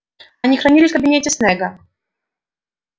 они хранили в кабинете снегга